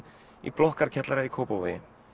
í blokkarkjallara í Kópavogi